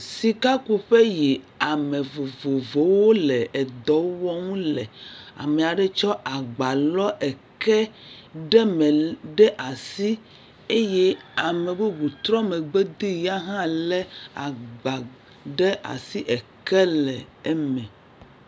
Sikakuƒe yi ame vovovowo le edɔ wɔm le. Ame aɖe tsɔ agba lɔ eke ɖe me ɖe asi eye ame bubu trɔ megbe dee. Ya hã lé agba ɖe asi eke le eme.